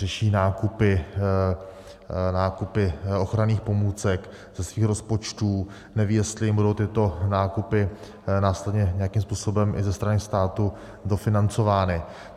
Řeší nákupy ochranných pomůcek ze svých rozpočtů, nevědí, jestli jim budou tyto nákupy následně nějakým způsobem i ze strany státu dofinancovány.